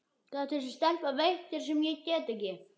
Hvað gat þessi stelpa veitt þér sem ég get ekki?